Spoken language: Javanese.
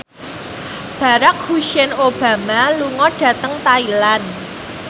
Barack Hussein Obama lunga dhateng Thailand